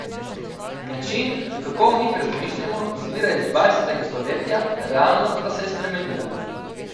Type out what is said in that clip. Način, kako o njih razmišljamo, izvira iz dvajsetega stoletja, realnost pa se je spremenila.